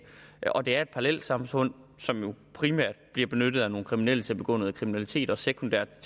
og at det er et parallelsamfund som jo primært bliver benyttet af nogle kriminelle til at begå noget kriminalitet og sekundært